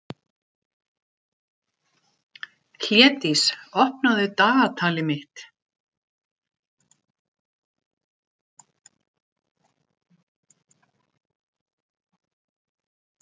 Hlédís, opnaðu dagatalið mitt.